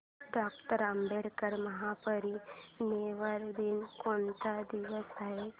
doctor Ambedkar महापरिनिर्वाण दिन कोणत्या दिवशी आहे